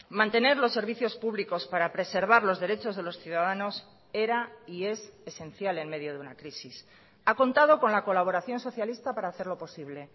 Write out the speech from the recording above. mantener los servicios públicos para preservar los derechos de los ciudadanos era y es esencial en medio de una crisis ha contado con la colaboración socialista para hacerlo posible